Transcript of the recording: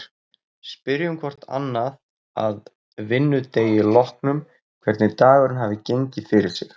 Spyrjum hvort annað að vinnudegi loknum hvernig dagurinn hafi gengið fyrir sig.